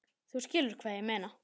Þú skilur hvað ég meina?